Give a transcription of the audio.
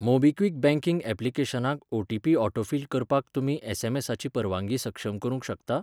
MobiKwik banking ऍप्लिकेशनाक OTP autofill करपाक तुमी एस.एम.एसा.ची परवानगी सक्षम करूंक शकता?